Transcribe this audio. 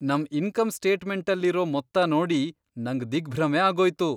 ನಮ್ ಇನ್ಕಮ್ ಸ್ಟೇಟ್ಮೆಂಟಲ್ಲಿರೋ ಮೊತ್ತ ನೋಡಿ ನಂಗ್ ದಿಗ್ಭ್ರಮೆ ಆಗೋಯ್ತು.